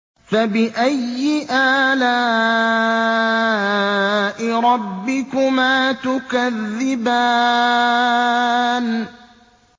فَبِأَيِّ آلَاءِ رَبِّكُمَا تُكَذِّبَانِ